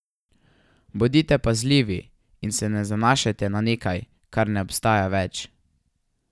Bodite pazljivi in se ne zanašajte na nekaj, kar ne obstaja več.